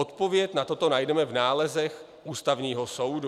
Odpověď na toto najdeme v nálezech Ústavního soudu.